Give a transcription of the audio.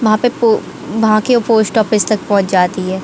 वहा पे पो वहा के पोस्टऑफिस तक पहुंच जाती है।